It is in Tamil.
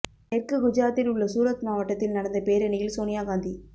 தெற்கு குஜராத்தில் உள்ள சூரத் மாவட்டத்தில் நடந்த பேரணியில் சோனியா காந்தி